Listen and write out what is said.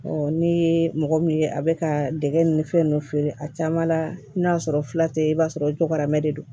ne ye mɔgɔ min ye a bɛ ka dɛgɛ ni fɛn ninnu feere a caman la n'a sɔrɔ fila tɛ i b'a sɔrɔ o cɔgɔ bɛ de don